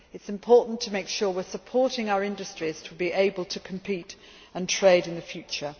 it is important to make sure we are supporting our industries to be able to compete and trade in the future.